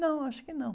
Não, acho que não.